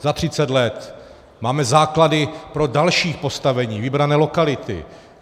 Za třicet let máme základy pro další postavení, vybrané lokality.